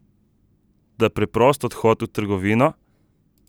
Toda preprost odhod v trgovino?